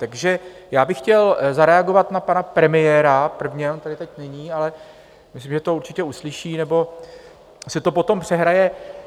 Takže já bych chtěl zareagovat na pana premiéra prvně, on tady teď není, ale myslím, že to určitě uslyší nebo si to potom přehraje.